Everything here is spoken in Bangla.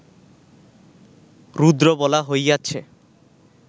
রুদ্র বলা হইয়াছে